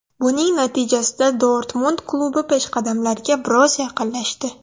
Buning natijasida Dortmund klubi peshqadamlarga biroz yaqinlashdi.